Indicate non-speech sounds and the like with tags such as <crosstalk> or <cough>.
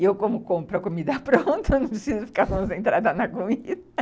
E eu, como compro a comida pronta, <laughs> não preciso ficar concentrada na comida. <laughs>